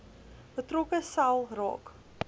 betrokke sel raak